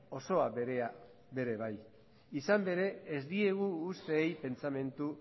osoa ere bai izan ere ez digu usteei pentsamendu